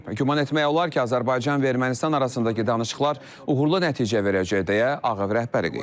Güman etmək olar ki, Azərbaycan və Ermənistan arasındakı danışıqlar uğurlu nəticə verəcək, deyə Ağ Ev rəhbəri qeyd edib.